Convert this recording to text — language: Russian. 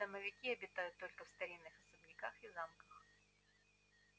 домовики обитают только в старинных особняках и замках